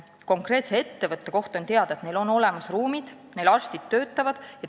Konkreetse ettevõtte kohta on teada, et neil on olemas ruumid ja töötavad arstid.